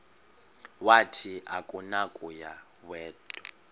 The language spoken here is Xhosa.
wathi akunakuya wedw